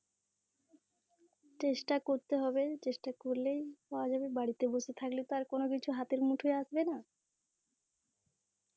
চেষ্টা করতে হবে চেষ্টা করলেই পাওয়া যাবে, বাড়িতে বসে থাকলে তো আর কোনো কিছু হাতের মুঠোয়ে আসবে না.